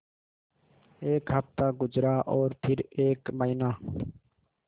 एक हफ़्ता गुज़रा और फिर एक महीना